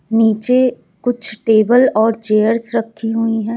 नीचे कुछ टेबल और चेयर्स रखी हुई है।